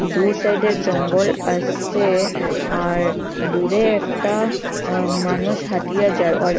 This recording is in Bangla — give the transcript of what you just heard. দুই সাইডে জঙ্গল আসে আর দূরে একটা অ্য মানুষ হাঁটিয়া যার অর--